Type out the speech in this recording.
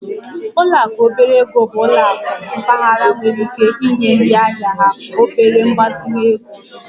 Ụlọ akụ obere ego bụ ụlọ akụ mpaghara nwere ike inye ndị ahịa ha obere mgbazinye ego